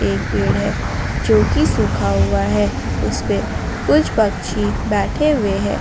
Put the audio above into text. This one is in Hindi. एक पेड़ है जो कि सूखा हुआ है उस पे कुछ पक्षी बैठे हुए हैं।